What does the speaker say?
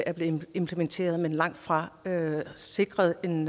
er blevet implementeret men langt fra sikret en